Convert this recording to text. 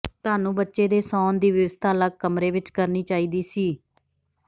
ਤੁਹਾਨੂੰ ਬੱਚੇ ਦੇ ਸੌਣ ਦੀ ਵਿਵਸਥਾ ਅਲੱਗ ਕਮਰੇ ਵਿੱਚ ਕਰਨੀ ਚਾਹੀਦੀ ਸੀ